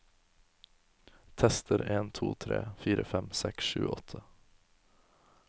Tester en to tre fire fem seks sju åtte